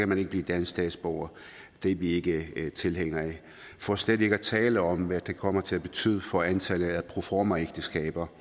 man ikke blive dansk statsborger det er vi ikke tilhængere af for slet ikke at tale om hvad det kommer til at betyde for antallet af proformaægteskaber